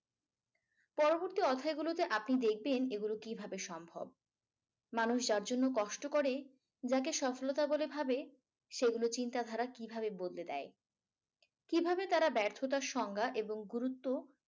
পরবর্তী অধ্যায়গুলোতে আপনি দেখবেন এগুলো কিভাবে সম্ভব? মানুষ যার জন্য কষ্ট করে যাকে সফলতা বলে ভাবে সেগুলো চিন্তা ধারা কিভাবে বদলে দেয়। কিভাবে তারা ব্যর্থতার সংজ্ঞা এবং গুরুত্ব।